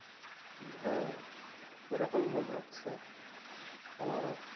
হ্যাঁ, ওইরকম মনে হচ্ছে আমারও,